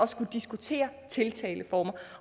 skulle diskutere tiltaleformer